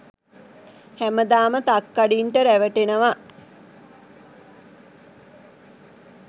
හැමදාම තක්කඩින්ට රැවටෙනව.